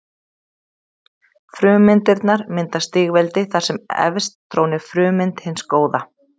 Frummyndirnar mynda stigveldi þar sem efst trónir frummynd hins góða.